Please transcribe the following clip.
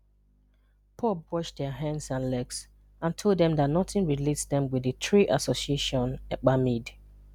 POB washed their hands and legs and told them that nothing relates them with the three association Ekpa made.